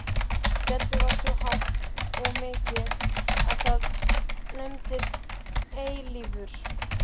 Fjallið var svo hátt og mikið að það nefndist Eilífur.